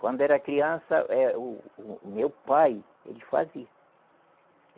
Quando era criança, eh o o meu pai, ele fazia.